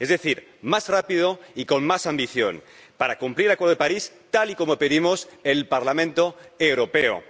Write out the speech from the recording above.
es decir, más rápido y con más ambición, para cumplir el Acuerdo de París tal y como pedimos en el Parlamento Europeo.